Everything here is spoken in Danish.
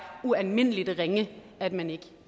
ualmindelig ringe at man ikke